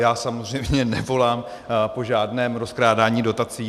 Já samozřejmě nevolám po žádném rozkrádání dotací.